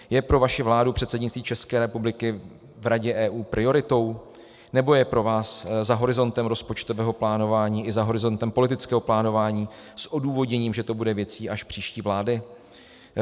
Je pro vaši vládu předsednictví České republiky v Radě EU prioritou, nebo je pro vás za horizontem rozpočtového plánování i za horizontem politického plánování s odůvodněním, že to bude věcí až příští vlády?